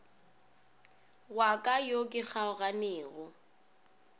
wa ka yo ke kgaoganego